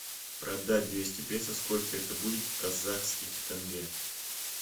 продать двести песо сколько это будет в казахских тенге